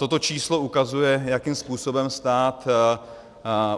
Toto číslo ukazuje, jakým způsobem stát